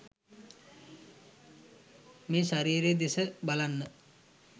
මේ ශරීරය දෙස බලන්න.